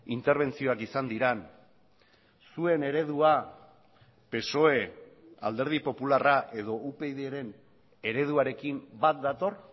interbentzioak izan diren zuen eredua psoe alderdi popularra edo upydren ereduarekin bat dator